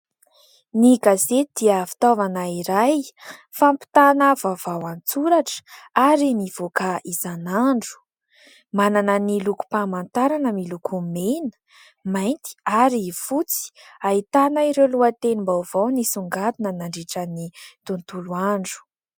Ny gazety dia fitaovana iray fampitana vaovao an-tsoratra ary mivoaka isan'andro. Manana ny lokom-pamantarana miloko mena, mainty ary fotsy. Ahitana ireo lohatenim-baovao nisongadina nandritra ny tontolo andro.